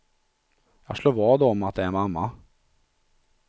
Jag slår vad om att det är mamma.